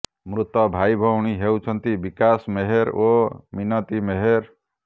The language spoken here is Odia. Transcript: ମୃତ ଭାଇ ଭଉଣୀ ହେଉଛନ୍ତି ବିକାଶ ମେହେର ଓ ମୀନତି ମେହେର